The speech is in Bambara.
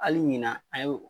Hali ɲina an y'o